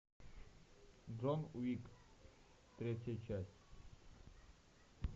джон уик третья часть